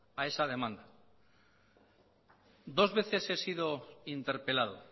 a esa demanda dos veces he sido interpelado